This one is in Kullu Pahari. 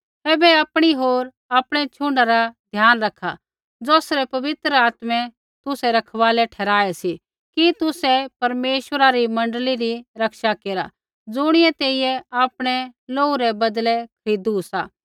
ऐबै आपणी होर आपणै छ़ुण्डा रा ध्यान रखा ज़ौसरै पवित्र आत्मै तुसै रखवालै ठहराऐ सी कि तुसै परमेश्वरा री मण्डली री रक्षा केरा ज़ुणियै तेइयै आपणै लोहू रै बदलै खरीदू सा